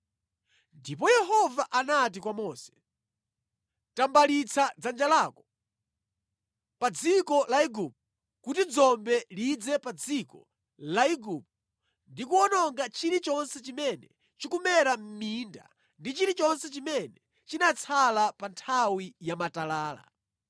Ndipo Yehova anati kwa Mose, “Tambalitsa dzanja lako pa dziko la Igupto kuti dzombe lidze pa dziko la Igupto ndi kuwononga chilichonse chimene chikumera mʼminda ndi chilichonse chimene chinatsala pa nthawi ya matalala.”